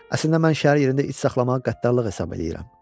Əslində mən şəhər yerində it saxlamağı qəddarlıq hesab eləyirəm.